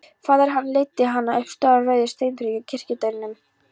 Faðir hennar leiddi hana upp stóru rauðu steinþrepin að kirkjudyrunum.